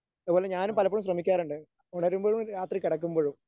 അതുപോലെ ഞാനും പലപ്പോഴും ശ്രമിക്കാറുണ്ട് ഉണരുമ്പോഴും രാത്രി കിടക്കുമ്പോഴും